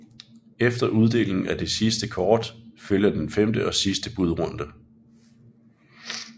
Efter uddelingen af det sidste kort følger den femte og sidste budrunde